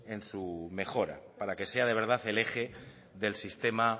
en su mejora para que sea de verdad el eje del sistema